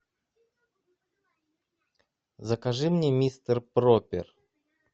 закажи мне мистер пропер